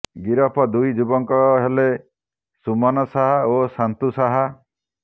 ଗିରଫ ଦୁଇ ଯୁବକ ହେଲେ ସୁମନ ସାହା ଓ ସନ୍ତୁ ସାହା